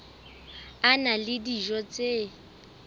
a na le dijo tse